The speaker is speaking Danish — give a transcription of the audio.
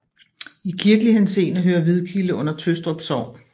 I kirkelig henseende hører Hvidkilde under Tøstrup Sogn